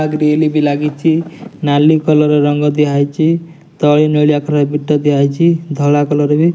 ଆ grill ବି ଲାଗିଚି। ନାଲି କଲର ର ରଙ୍ଗ ଦିଆ ହେଇଚି। ତଳେ ନେଳିଆ କଲର ବିଟ ଦିଆହେଇଚି। ଧଳା କଲର ବି --